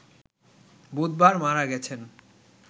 বুধবার মারা গেছেন